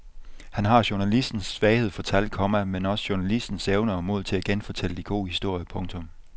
Han har journalistens svaghed for tal, komma men også journalistens evne og mod til at genfortælle de gode historier. punktum